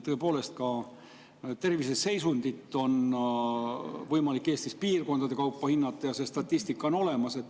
Tõepoolest, ka terviseseisundit on võimalik Eestis piirkondade kaupa hinnata, see statistika on olemas.